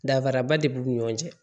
Danfaraba de b'u ni ɲɔgɔn cɛ